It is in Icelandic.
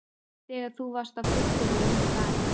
Þegar þú varst á fylliríi úti í bæ!